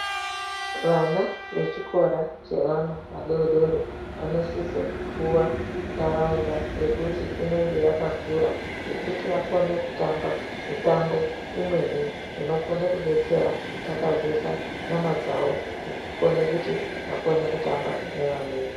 Vana vechikora chevana vadodori vanosise kupuwa ntaraunda yekuti inenge yakakura yekuti vakone kutamba mitambo imweni inokone kudetsera kutatsazeka nyama dzawo nekukona kuti vakone kutamba nevamweni.